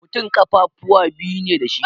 Mutum ƙafafuwa biyu ne dashi